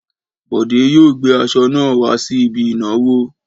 Bọ̀dé yóò gbé aṣọ náà wá sí ibi ìnáwó!